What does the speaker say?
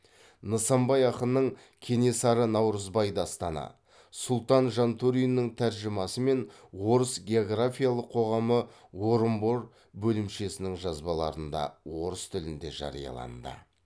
нысанбай ақынның кенесары наурызбай дастаны сұлтан жантөриннің тәржімасымен орыс географиялық қоғамы орынбор бөлімшесінің жазбаларында орыс тілінде жарияланды